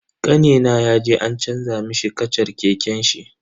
Kanina yaje an canza mishi kashar keken shi.